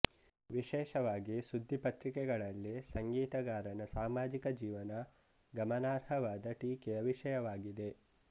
ವಿಶೇಷವಾಗಿ ಸುದ್ದಿ ಪತ್ರಿಕೆಗಳಲ್ಲಿ ಸಂಗೀತಗಾರನ ಸಮಾಜಿಕ ಜೀವನ ಗಮನಾರ್ಹವಾದ ಟೀಕೆಯ ವಿಷಯವಾಗಿದೆ